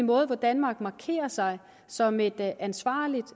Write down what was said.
hvorpå danmark markerer sig som et ansvarligt